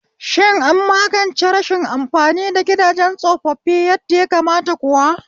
Shin an magance rashin amfani da gidajen tsofaffi yadda ya kamata kuwa?